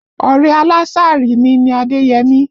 Ọ̀rẹ́ aláàsírí mi ni Adéyẹmí